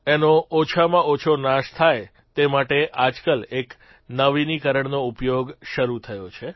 એનો ઓછામાં ઓછો નાશ થાય તે માટે આજકાલ એક નવીનીકરણનો ઉપયોગ શરૂ થયો છે